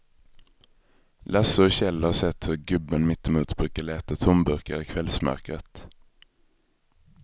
Lasse och Kjell har sett hur gubben mittemot brukar leta tomburkar i kvällsmörkret.